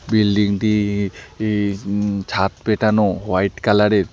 বিল্ডিংটি ই উম ছাদ পেটানো হোয়াইট কালারের।